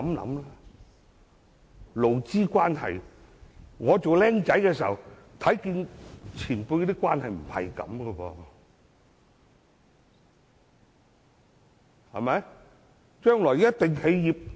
就勞資關係而言，我年輕時看到前輩的關係並非如此。